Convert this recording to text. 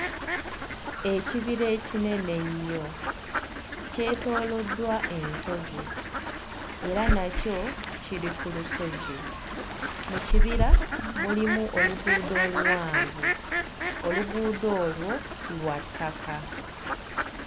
Ekibira ekinene ennyo kyetooloddwa ensozi era nakyo kiri ku lusozi mu kibira mulimu oluguudo oluwanvu oluguudo olwo lwa ttaka.